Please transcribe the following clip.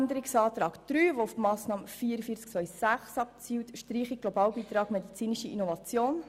Zu Abänderungsantrag 3 betreffend die Massnahme 44.2.6 zur Streichung des Globalbeitrags für die medizinische Innovation: